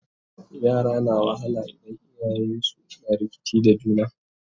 yara na wahala idan iyayensun na rikici da juna